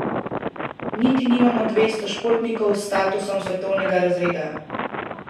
Niti nimamo dvesto športnikov s statusom svetovnega razreda.